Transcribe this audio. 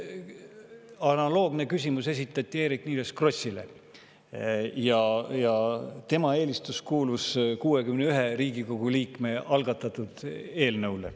Analoogne küsimus esitati Eerik-Niiles Krossile ja tema eelistus kuulub 61 Riigikogu liikme algatatud eelnõule.